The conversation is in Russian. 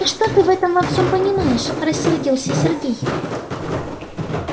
да что ты в этом во всём понимаешь рассердился сергей